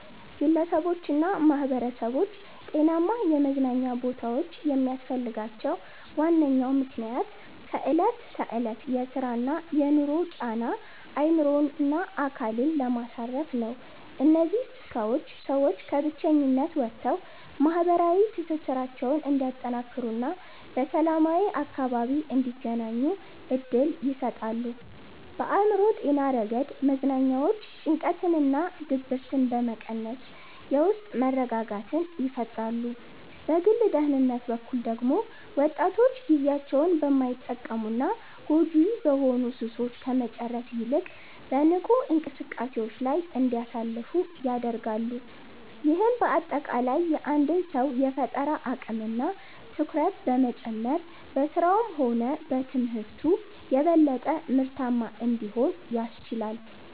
ግለሰቦችና ማኅበረሰቦች ጤናማ የመዝናኛ ቦታዎች የሚያስፈልጋቸው ዋነኛው ምክንያት ከዕለት ተዕለት የሥራና የኑሮ ጫና አእምሮንና አካልን ለማሳረፍ ነው። እነዚህ ስፍራዎች ሰዎች ከብቸኝነት ወጥተው ማኅበራዊ ትስስራቸውን እንዲያጠናክሩና በሰላማዊ አካባቢ እንዲገናኙ ዕድል ይሰጣሉ። በአእምሮ ጤና ረገድ መዝናኛዎች ጭንቀትንና ድብርትን በመቀነስ የውስጥ መረጋጋትን ይፈጥራሉ። በግል ደህንነት በኩል ደግሞ ወጣቶች ጊዜያቸውን በማይጠቅሙና ጎጂ በሆኑ ሱሶች ከመጨረስ ይልቅ በንቁ እንቅስቃሴዎች ላይ እንዲያሳልፉ ያደርጋሉ። ይህም በአጠቃላይ የአንድን ሰው የፈጠራ አቅምና ትኩረት በመጨመር በሥራውም ሆነ በትምህርቱ የበለጠ ምርታማ እንዲሆን ያስችላል።